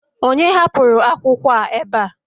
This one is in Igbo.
onye hapụrụ akwụkwọ a ebe a?